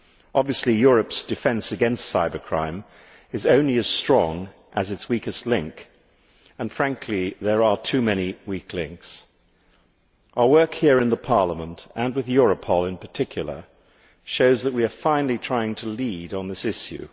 Obviously Europe's defence against cybercrime is only as strong as its weakest link, and frankly there are too many weak links. Our work here in Parliament, and with Europol in particular, shows that we are finally trying to lead on this issue.